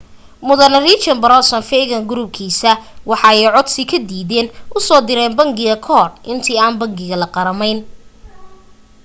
mudane richard branson virgin group-kiisa waxa ay codsi la diiday usoo direyn bangiga kahor inta aan bangiga la qarameyn